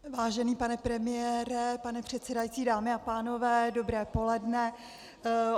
Vážený pane premiére, pane předsedající, dámy a pánové, dobré poledne.